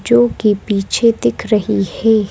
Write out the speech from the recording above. जो कि पीछे दिख रही है।